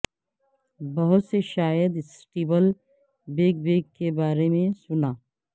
بہت سے شاید سٹیبل بیک بیک کے بارے میں سنا